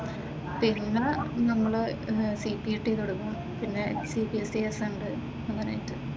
പിന്നെ നമ്മൾ സിപിടി ടെ കൊടുക്കണം പിന്നെ ക്യുഎസ്എൽസിഎസ് ഉണ്ട് അങ്ങനെയൊക്കെ.